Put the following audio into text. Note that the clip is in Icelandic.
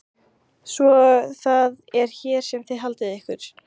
Svo það er hér sem þið haldið ykkur.